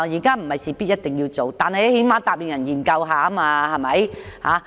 當局不是一定要這樣做，但最低限度答應會研究一下。